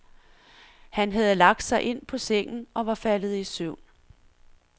Han havde lagt sig ind på sengen og var faldet i søvn.